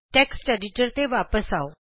text editor ਤੇ ਵਾਪਸ ਜਾਉ